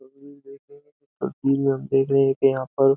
देख रहे हैं कि यहाँ पर --